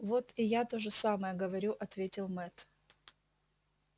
вот и я то же самое говорю ответил мэтт